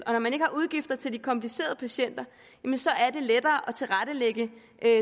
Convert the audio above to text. og når man ikke har udgifter til de komplicerede patienter er det lettere at tilrettelægge